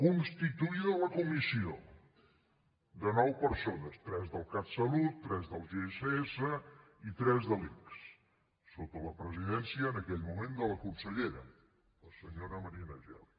constituïda la comissió de nou persones tres del catsalut tres del gss i tres de l’ics sota la presidència en aquell moment de la consellera la senyora marina geli